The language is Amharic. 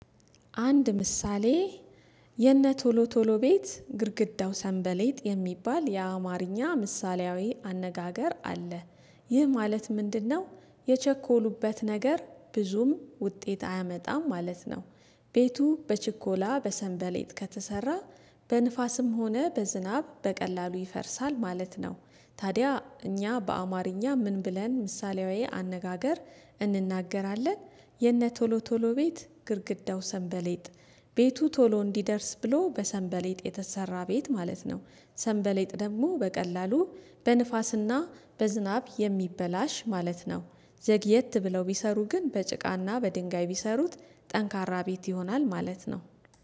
አንድ ምሳሌ የነ ቶሎ ቶሎ ቤት ግድግዳው ሰንበሌጥ የሚባል የአማርኛ ምሳሌያዊ አነጋገር አለ። ይህ ማለት ምንድነው? የቸኮሉበት ነገር ብዙም ውጤት አያመጣም ማለት ነው። ቤቱ በችኮላ በሰንበሌት ከተሰራ በንፋስም ሆነ በዝናብ በቀላሉ ይፈርሳል ማለት ነው። ታዲያ እኛ በአማርኛ ምን ብለን ምሳሌያዊ አነጋገር እንናገራለን። የነ ቶሎ ቶሎ ቤት ግድግዳው ሰንበሌጥ። ቤቱ ቶሎ እንዲደርስ ብሎ በሰንበሌጥ የተሰራ ቤት ማለት ነው። ሰንበሌጥ ደግሞ በቀላሉ በንፋስና በዝናብ የሚበላሽ ማለት ነው። ዘግየት ብለው ቢሰሩ ግን በጭቃና በድንጋይ ቢሰሩት ጠንካራ ቤት ይሆናል ማለት ነው